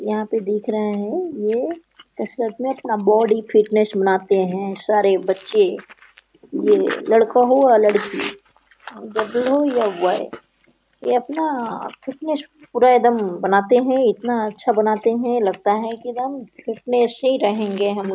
यहा पे देख रहे है ये कसरत में अपना बॉडी फिटनेस बनाते है सारे बच्चे ये लड़का हो या लड़की गर्ल हो या बॉय ये अपना फिटनेस पूरा एकदम बनाते है। इतना अच्छा बनाते है लगता है की एकदम फिटनेस ही रहेगे हम।